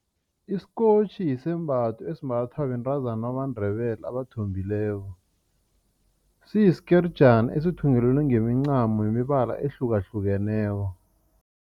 Isikotjhi yisembatho esimbathwa bentazana bamaNdebele abathombileko. Siyisikerijana esithungelelwe ngemincamo yemibala ehlukahlukeneko.